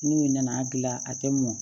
N'u nana a gilan a tɛ mɔn